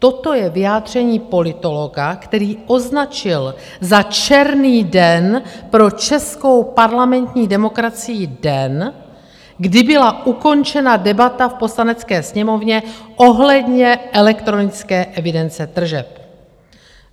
Toto je vyjádření politologa, který označil za černý den pro českou parlamentní demokracii den, kdy byla ukončena debata v Poslanecké sněmovně ohledně elektronické evidence tržeb.